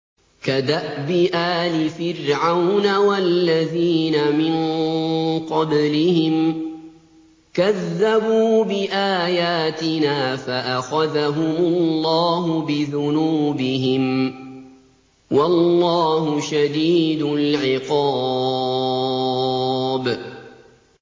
كَدَأْبِ آلِ فِرْعَوْنَ وَالَّذِينَ مِن قَبْلِهِمْ ۚ كَذَّبُوا بِآيَاتِنَا فَأَخَذَهُمُ اللَّهُ بِذُنُوبِهِمْ ۗ وَاللَّهُ شَدِيدُ الْعِقَابِ